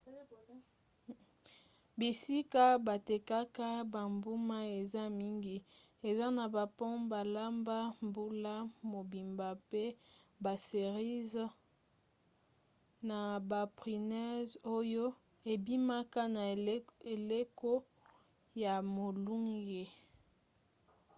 bisika batekaka bambuma eza mingi eza na bapome balamba mbula mobimba mpe baserize na baprunes oyo ebimaka na eleko ya molunge